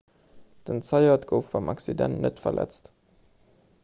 den zayat gouf beim accident net verletzt